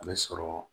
A bɛ sɔrɔ